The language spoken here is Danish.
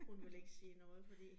Hun vil ikke sige noget fordi